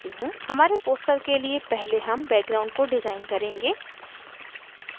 हमारे poster के लिए पहले हम background को डिज़ाइन करेंगे